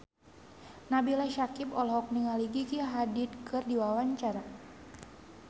Nabila Syakieb olohok ningali Gigi Hadid keur diwawancara